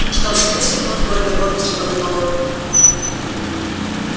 что ж пусть ведут с горькой гордостью подумал он